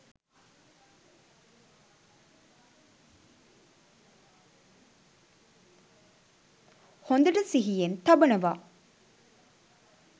හොඳට සිිහියෙන් තබනවා.